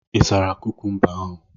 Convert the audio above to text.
Ị sara kukumba ahụ?